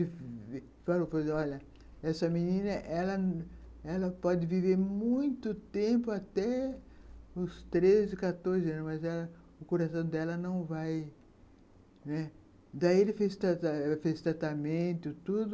Ele falou, olha, essa essa menina ela pode viver muito tempo, até os treze, quatorze anos, mas ela, o coração dela não vai, né, daí, ela fez tratamento e tudo.